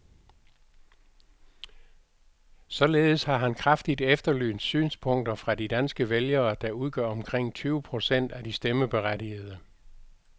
Således har han kraftigt efterlyst synspunkter fra de danske vælgere, der udgør omkring tyve procent af de stemmeberettigede.